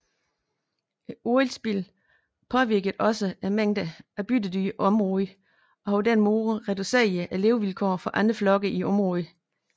Oliespildet påvirkede også mængden af byttedyr i området og har på den måde reduceret levevilkårene for andre flokke i området